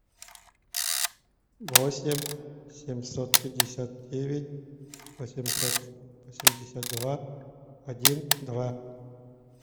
восемь семьсот пятьдесят девять восемьсот семьдесят два один два